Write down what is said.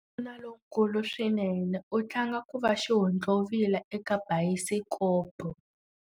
Wanuna lonkulu swinene u tlanga ku va xihontlovila eka bayisikopo.